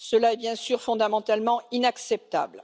Cela est, bien sûr, fondamentalement inacceptable.